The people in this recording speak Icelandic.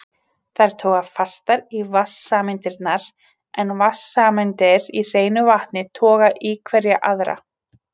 Þær toga fastar í vatnssameindirnar en vatnssameindir í hreinu vatni toga í hverja aðra.